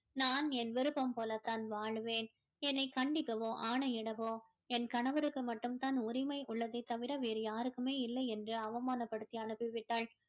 நான் என் விருப்பம் போல தான் வாழ்வேன் என்னை கண்டிக்கவோ ஆணையிடவோ என் கணவருக்கு மட்டும் தான் உரிமை உள்ளதே தவிர வேறு யாருக்குமே இல்லை என்று அவமானப்படுத்தி அனுப்பி விட்டாள்